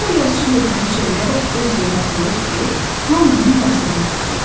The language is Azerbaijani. Sonra yazıçı lövhəni çevirərək öz yerinə qoyur ki, hamı onun yazdığını oxusun.